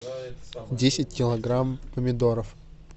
десять килограмм помидоров